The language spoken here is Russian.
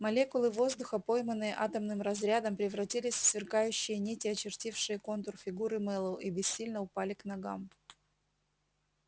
молекулы воздуха пойманные атомным разрядом превратились в сверкающие нити очертившие контур фигуры мэллоу и бессильно упали к ногам